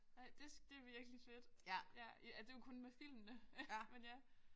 Nej det det er virkelig fedt. Ja det er jo kun med filmene men ja